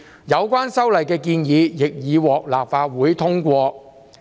有關修例的建議亦已獲立法會通過。